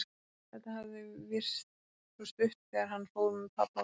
Þetta hafði virst svo stutt þegar hann fór með pabba og mömmu.